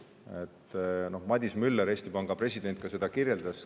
Eesti Panga president Madis Müller ka seda kirjeldas.